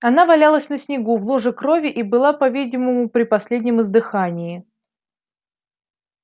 она валялась на снегу в луже крови и была по видимому при последнем издыхании